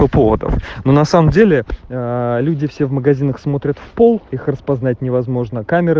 поводов но на самом деле люди все в магазинах смотрят в пол их распознать невозможно камеры